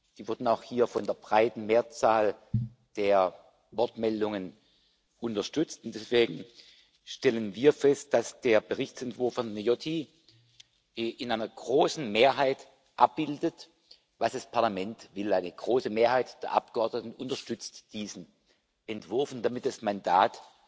die wurden auch hier von der breiten Mehrzahl der Wortmeldungen unterstützt, und deswegen stellen wir fest, dass der Berichtsentwurf von Viotti in einer großen Mehrheit abbildet, was das Parlament will. Eine große Mehrheit der Abgeordneten unterstützt diesen Entwurf und damit das Mandat